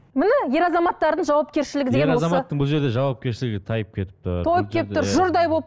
міне ер азамттардың жауапкершілігі бұл жерде жауапкершілігі тайып кетіп тұр тұр жұрдай